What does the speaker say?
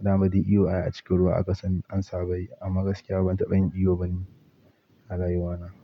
Da ma duk iwo ai a cikin ruwa aka san an saba yi. Amma gaskiya ban taɓa yin iwo ba ni a rayuwana.